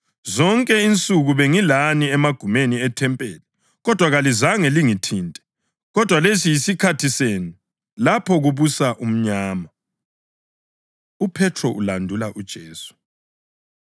Zonke insuku bengilani emagumeni ethempeli, kodwa kalizange lingithinte. Kodwa lesi yisikhathi senu, lapho kubusa umnyama.” UPhethro Ulandula UJesu